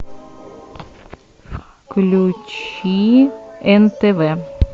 включи нтв